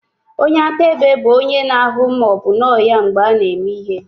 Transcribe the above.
Onye akaebe bụ onye na-ahụ ma ọ bụ nọ ya mgbe a na-eme ihe.